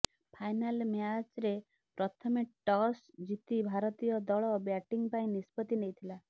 final ମ୍ୟାଚରେ ପ୍ରଥମେ toss ଜିତି ଭାରତୀୟ ଦଳ ବ୍ୟାଟିଂ ପାଇଁ ନିଷ୍ପତ୍ତି ନେଇଥିଲା